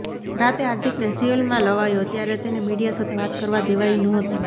રાતે હાર્દિકને સિવિલમાં લવાયો ત્યારે તેને મીડિયા સાથે વાત કરવા દેવાઇ નહોતી